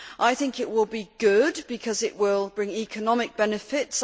I think it will be good because it will bring economic benefits.